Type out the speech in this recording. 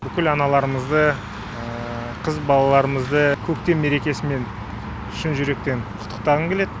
бүкіл аналарымызды қыз балаларымызды көктем мерекесімен шын жүректен құттықтағым келеді